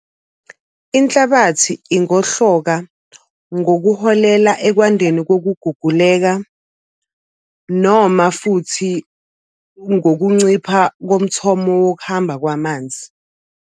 Inhlabathi ingohloka ngokuholela ekwandeni kokuguguleka, noma futhi ngokuncipha komthomo wokuhamba kwamanzi.